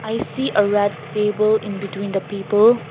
i see a red table in between the people.